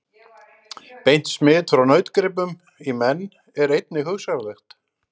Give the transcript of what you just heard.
Beint smit frá nautgripum í menn er einnig hugsanlegt.